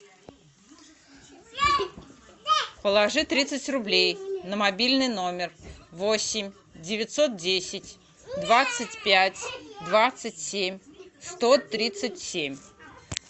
положи тридцать рублей на мобильный номер восемь девятьсот десять двадцать пять двадцать семь сто тридцать семь